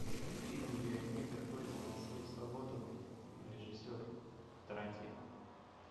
фильм где негр борется за свою свободу режиссер тарантино